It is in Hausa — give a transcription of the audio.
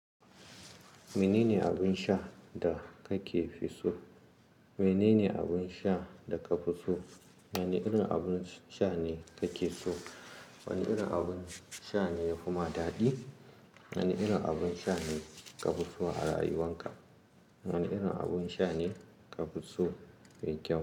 Menene abin sha da kake fi so? Menene abin sha da ka fi so? Wane irin abun sha ne kake so? Wane irin abun sha ne ya fi ma daɗi? Wane irin abun sha ne ka fi so a rayuwanka? Wane irin abun sha ne ka fi so me kyau?